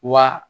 Wa